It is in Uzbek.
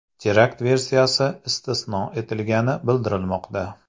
Terakt versiyasi istisno etilgani bildirilmoqda.